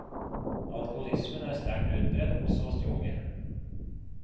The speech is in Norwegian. Alkoholismen er sterkt utbredt også hos de unge.